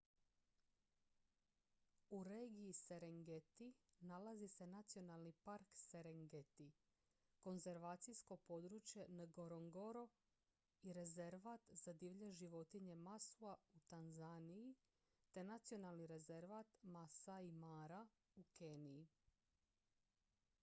u regiji serengeti nalazi se nacionalni park serengeti konzervacijsko područje ngorongoro i rezervat za divlje životinje maswa u tanzaniji te nacionalni rezervat maasai mara u keniji